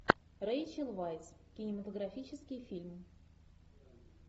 рейчел вайс кинематографический фильм